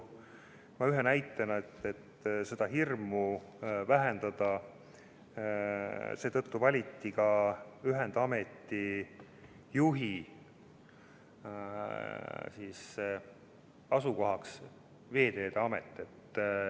Et seda hirmu vähendada, valiti ühendameti juhi asukohaks Veeteede Amet.